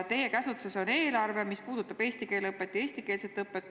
Teie käsutuses on eelarve, mis peab silmas eesti keele õpet ja eestikeelset õpet.